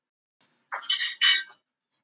Hann var með tvo.